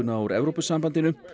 úr Evrópusambandinu